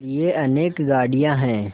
लिए अनेक गाड़ियाँ हैं